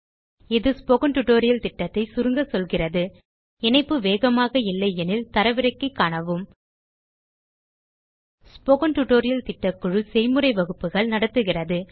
இது spoken tutorial திட்டத்தை சுருங்க சொல்கிறது இணைப்பு வேகமாக இல்லையெனில் தரவிறக்கி காணவும் ஸ்போக்கன் டியூட்டோரியல் திட்டக்குழு செய்முறை வகுப்புகள் நடத்துகிறது